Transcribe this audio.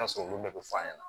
bɛɛ bɛ f'a ɲɛna